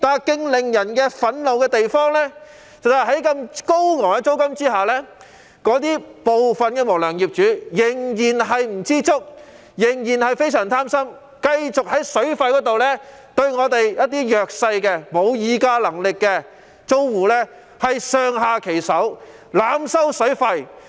更令人憤怒的是，在租金高昂的情況下，部分無良業主仍然貪得無厭，繼續在水費方面對沒有議價能力的弱勢租戶上下其手，濫收水費。